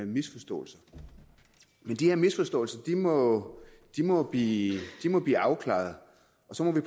misforståelser men de her misforståelser må må blive afklaret og så må vi